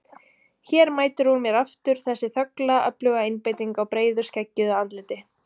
Hér mætir hún mér aftur, þessi þögla öfluga einbeiting á breiðu skeggjuðu andliti.